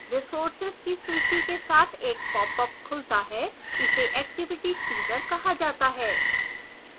resources की सूची के साथ एक popअप खुलता है इसे activity chooser कहा जाता है